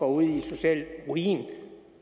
ud i social ruin